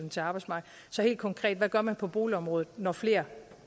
til arbejdsmarkedet så helt konkret hvad gør man på boligområdet når flere